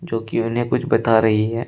जोकि उन्हें कुछ बता रही है।